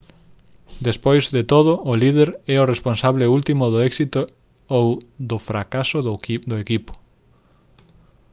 despois de todo o líder é o responsable último do éxito ou do fracaso do equipo